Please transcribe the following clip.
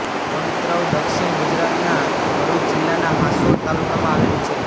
ભગત્રવ દક્ષિણ ગુજરાતના ભરૂચ જિલ્લાના હાંસોટ તાલુકામાં આવેલું છે